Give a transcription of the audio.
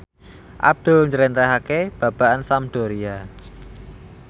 Abdul njlentrehake babagan Sampdoria